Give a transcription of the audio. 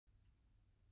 Bjössi fór í skólann en